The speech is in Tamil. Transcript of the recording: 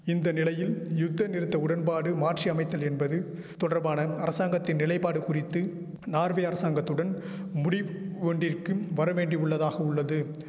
இந்த நிலையில் யுத்தநிறுத்த உடன்பாடு மாற்றி அமைத்தல் என்பது தொடர்பான அரசாங்கத்தின் நிலைபாடு குறித்து நார்வே அரசாங்கத்துடன் முடிவ் ஒன்றிற்கும் வரவேண்டிவுள்ளதாகவுள்ளது